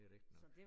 Det rigtigt nok